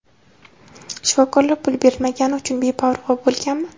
Shifokorlar pul berilmagani uchun beparvo bo‘lganmi?.